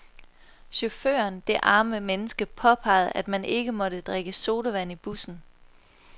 Chaufføren, det arme menneske, påpegede, at man ikke måtte drikke sodavand i bussen.